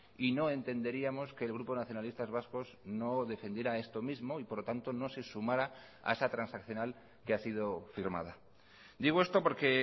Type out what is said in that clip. y no entenderíamos que el grupo nacionalistas vascos no defendiera esto mismo y por lo tanto no se sumara a esa transaccional que ha sido firmada digo esto porque